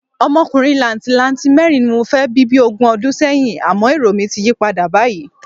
Ọmọkùnrin làǹtìlanti mẹ́rin ni mo fẹ́ bí bí ogún ọdún sẹ́yìn, àmọ́ èrò mi ti yí padà báyìí.